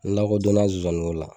N lakodonna zonzaniko la